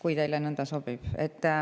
Ehk teile sobib nõnda.